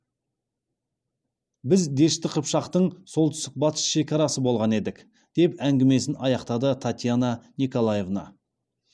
біз дешті қыпшақтың солтүстік батыс шекарасы болған едік деп әңгімесін аяқтады татьяна николаевна